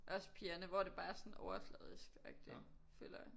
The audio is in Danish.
Også pigerne hvor det bare er sådan overfladisk føler agtig jeg